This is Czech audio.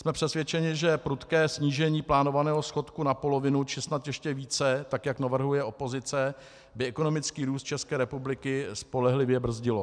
Jsme přesvědčeni, že prudké snížení plánovaného schodku na polovinu či snad ještě více, tak jak navrhuje opozice, by ekonomický růst České republiky spolehlivě brzdilo.